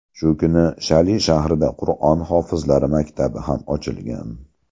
Shu kuni Shali shahrida Qur’on hofizlari maktabi ham ochilgan.